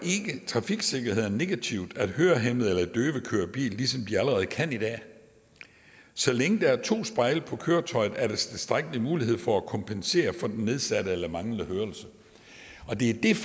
trafiksikkerheden negativt at hørehæmmede eller døve kører bil ligesom de allerede kan i dag så længe der er to spejle på køretøjet er der tilstrækkelig mulighed for at kompensere for den nedsatte eller manglende hørelse og det er